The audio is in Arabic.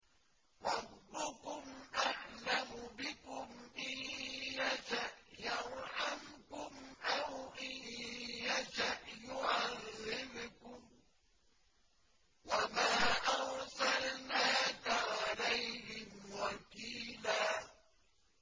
رَّبُّكُمْ أَعْلَمُ بِكُمْ ۖ إِن يَشَأْ يَرْحَمْكُمْ أَوْ إِن يَشَأْ يُعَذِّبْكُمْ ۚ وَمَا أَرْسَلْنَاكَ عَلَيْهِمْ وَكِيلًا